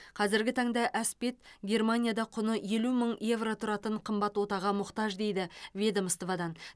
қазіргі таңда әспет германияда құны елу мың евро тұратын қымбат отаға мұқтаж дейді ведомстводан